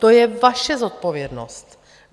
To je vaše zodpovědnost.